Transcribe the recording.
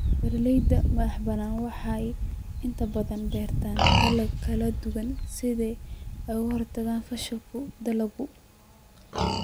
Beeralayda madaxa banaan waxay inta badan beertaan dalagyo kala duwan si ay uga hortagaan fashilka dalagga.